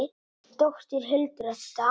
Þín dóttir, Hildur Edda.